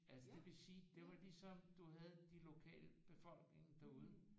Altså det vil sige det var ligesom du havde de lokale befolkningen derude